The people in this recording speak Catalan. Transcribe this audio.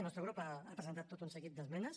el nostre grup ha presentat tot un seguit d’esmenes